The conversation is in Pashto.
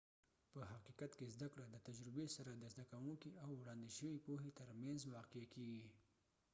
په حقیقت کې زده کړه د تجربې سره د زده کونکي او وړاندې شوي پوهې تر مینځ واقع کیږي